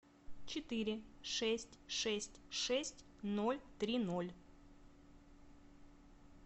четыре шесть шесть шесть ноль три ноль